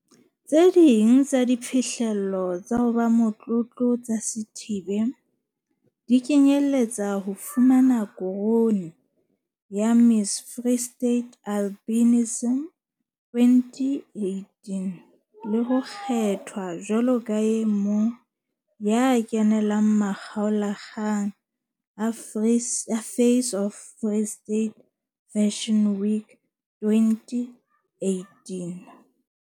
Ho bile le kgatelopele ya nnete ntlafatsong ya maphelo a basadi ba Afrika Borwa moruong, lekaleng la dipolotiki le phedi-sanong ya setjhaba.